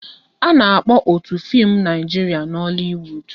A na-akpọ otu fim Naijiria Nollywood